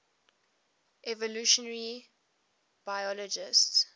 evolutionary biologists